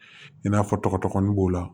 I n'a fɔ tɔgɔdɔgɔnin b'o la